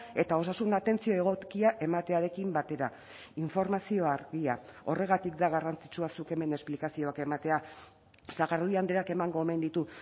eta osasun atentzio egokia ematearekin batera informazioa argia horregatik da garrantzitsua zuk hemen esplikazioak ematea sagardui andreak emango omen ditu